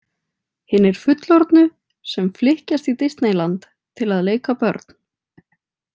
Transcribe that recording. Hinir fullorðnu sem flykkjast í Disneyland til að leika börn.